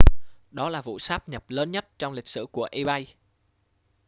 đó là vụ sát nhập lớn nhất trong lịch sử của ebay